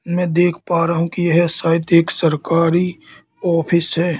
मैं देख पा रहा हूं कि यह शायद एक सरकारी ऑफिस है।